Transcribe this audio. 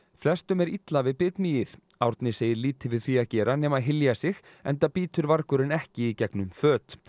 flestum er illa við bitmýið Árni segir lítið við því að gera nema hylja sig enda bítur ekki í gegnum föt